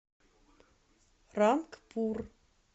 рангпур